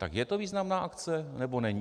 Tak je to významná akce, nebo není?